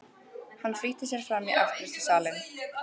Hann flýtti sér fram í afgreiðslusalinn.